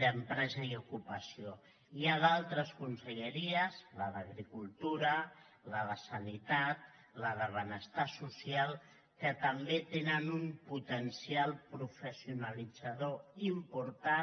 d’empresa i ocupació hi ha d’altres conselleries la d’agricultura la de salut la de benestar social que també tenen un potencial professionalitzador important